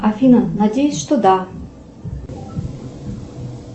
афина надеюсь что да